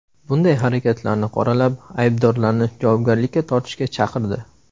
Bunday harakatlarni qoralab, aybdorlarni javobgarlikka tortishga chaqirdi.